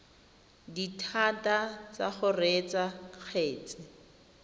dithata tsa go reetsa kgetse